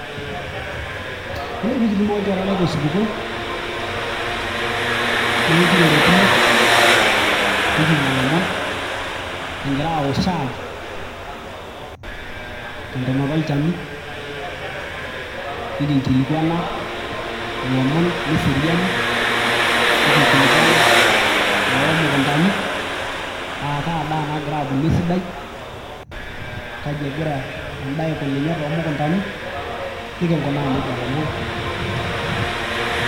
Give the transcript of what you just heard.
Yiolo peekitumo olchore lai tosupuko, neekirorokino nikinyia ilomon kingiraa aaok shaai tentonota olchani nikinkilikuana ilomon leseriani, nikinkilikuana iloomukuntani aakaa daa nagira abulu esidai kaji egira endaa aikununye toomukuntani nikinkunaa nejia ilomon.